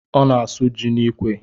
Ọ na-asụ ji n'ikwe